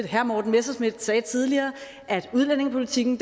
herre morten messerschmidt sagde tidligere at udlændingepolitikken